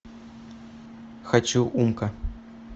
хочу умка